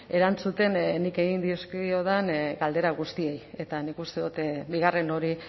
erantzuten nik egin dizkiodan galdera guztiei eta nik uste dut bigarren hori